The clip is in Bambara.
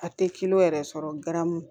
A tɛ yɛrɛ sɔrɔ garamu